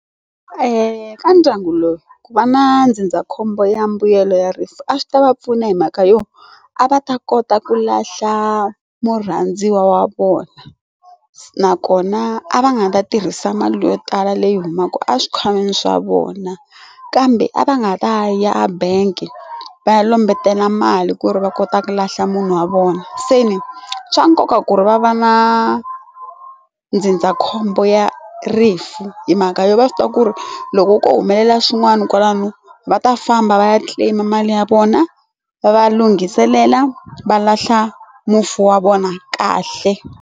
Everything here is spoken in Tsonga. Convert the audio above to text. ka ndyangu lowu ku va na ndzindzakhombo ya mimbuyelo ya rifu a swi ta va pfuna hi mhaka yo a va ta kota ku lahla murhandziwa wa vona nakona a va nga ta tirhisa mali yo tala leyi humaka exikhwameni swa vona kambe a va nga ta ya ebank va ya lombetela mali ku ri va kota ku lahla munhu wa vona se ni swa nkoka ku ri va va na ndzindzakhombo ya ri rifu hi mhaka yo va swi tiva ku ri loko ko humelela swin'wana kwalano va ta famba va ya claim mali ya vona va va lunghiselela va lahla mufi wa vona kahle.